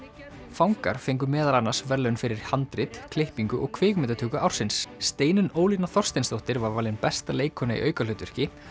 fangar fengu meðal annars verðlaun fyrir handrit klippingu og kvikmyndatöku ársins Steinunn Ólína Þorsteinsdóttir var valin besta leikkona í aukahlutverki